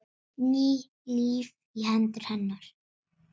Ný lífi í hendur hennar.